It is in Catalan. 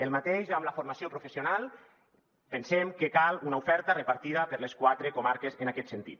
el mateix amb la formació professional pensem que cal una oferta repartida per les quatre comar·ques en aquest sentit